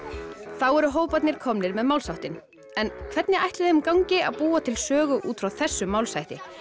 þá eru hóparnir komnir með málsháttinn en hvernig ætli þeim gangi að búa til sögu út frá þessum málshætti